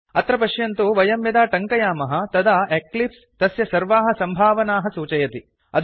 अत्र पश्यन्तु वयं यदा टङ्कयामः तदा एक्लिप्स् तस्य सर्वाः सम्भावनाः सूचयति